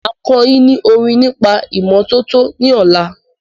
Máa kọ́ yín ní orin nípa ìmọ́tọ́tọ́ ní ọ̀la.